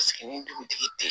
Sigi ni dugutigi tɛ